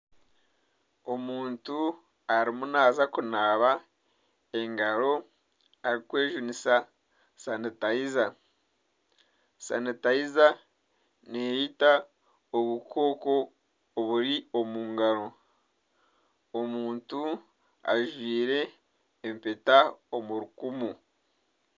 Omuntu arimu naaza kunaaba omu ngaro arikwejunisa sanitaiza, sanitaiza neita obukooko oburi omu ngaro, omuntu ajwaire empeta omu rukumu.